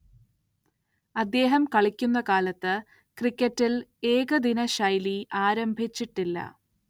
അദ്ദേഹം കളിക്കുന്ന കാലത്ത് ക്രിക്കറ്റിൽ ഏകദിനശൈലി ആരംഭിച്ചിട്ടില്ല.